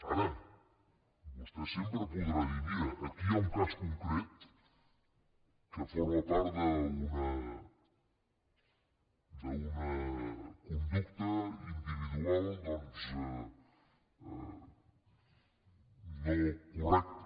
ara vostè sempre podrà dir mira aquí hi ha un cas concret que forma part d’una conducta individual doncs no correcta